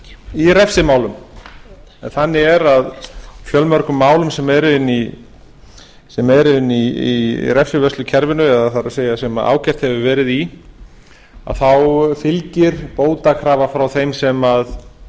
í refsimálum en þannig er að fjölmörgum málum sem eru inni í refsivörslukerfinu eða það er sem ákært hefur verið í þá fylgir bótakrafa frá þeim